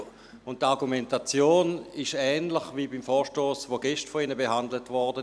Die Argumentation ist ähnlich wie beim Vorstoss der gestern von Ihnen behandelt wurde.